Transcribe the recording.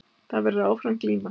Það verður áfram glíma